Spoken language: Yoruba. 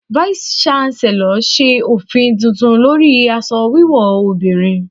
Váísí shánselọ̀ ṣe òfin tuntun lórí aṣọ wíwò obìnrin.